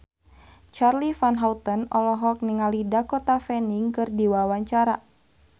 Charly Van Houten olohok ningali Dakota Fanning keur diwawancara